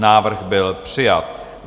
Návrh byl přijat.